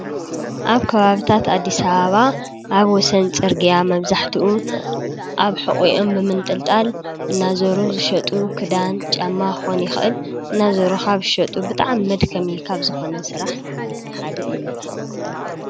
ኣብ ከባብታት ኣዲስ ኣበባ ኣብ ወሰን ፅርግያ መብዛሕትኡ ኣብ ሑቂአን ብምንጥልጣል እናዘሩ ዝሸጡ ክዳን ፣ ጫማ ክኮን ይኽእል ናዘሩ ካብ ዝሸጡ ብጣዕሚ መድከሚ ካብ ዝኮነ ስራሕ ሓደ እዩ።